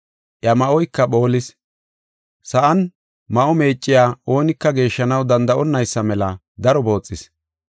Iya ma7oyka phoolis; sa7an ma7o meecciya oonika geeshshanaw danda7onnaysa mela daro booxis.